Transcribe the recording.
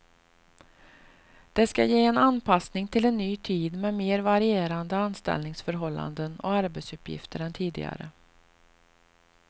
Det ska ge en anpassning till en ny tid med mer varierande anställningsförhållanden och arbetsuppgifter än tidigare.